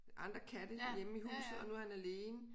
Andre katte hjemme i huset og nu er han alene